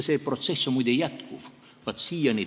See protsess, muide, jätkub siiani.